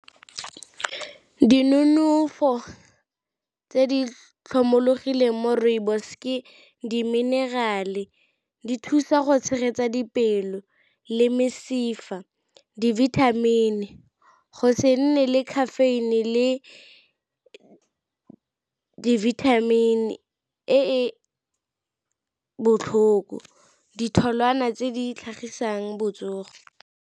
Dinonofo tse di tlhomologileng mo rooibos ke diminerale, di thusa go tshegetsa dipelo, le mesifa, di-vitamin, go se nne le caffeine le di-vitamin e e botlhoko, ditholwana tse di tlhagisang botsogo.